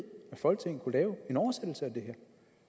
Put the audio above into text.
folketinget kunne lave en oversættelse af det her